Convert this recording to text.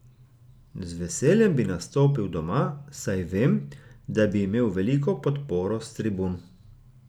Z veseljem bi nastopil doma, saj vem, da bi imel veliko podporo s tribun.